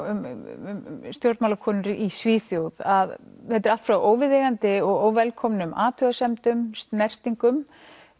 um stjórnmálakonur í Svíþjóð að þetta er allt frá óviðeigandi og óvelkomnum athugasemdum snertingum